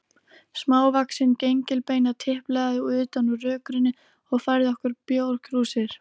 Smávaxin gengilbeina tiplaði utan úr rökkrinu og færði okkur bjórkrúsir.